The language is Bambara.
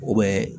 U bɛ